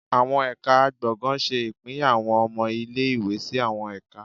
Awọn Ẹka gbọngàn ṣe ipínyá awọn ọmọ ìlé-ìwé sí awọn ẹka